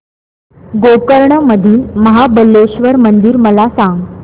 गोकर्ण मधील महाबलेश्वर मंदिर मला सांग